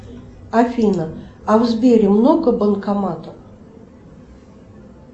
афина а в сбере много банкоматов